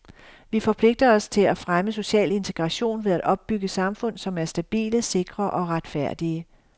Vi forpligter os til at fremme social integration ved at opbygge samfund, som er stabile, sikre og retfærdige.